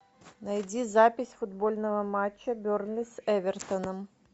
найди запись футбольного матча бернли с эвертоном